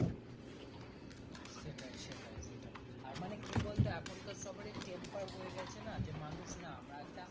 সেটাই সেটাই সেটাই আর মানে কি বলতো এখন কার সবারির tempar হয়ে গেছে না যে মানুষ না আমরা একটা